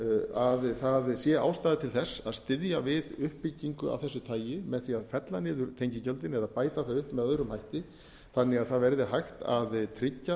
að það sé ástæða til þess að styðja við uppbyggingu af þessu tagi með því að fella niður tengigjöldin eða bæta það upp með öðrum hætti þannig að það verði hægt að tryggja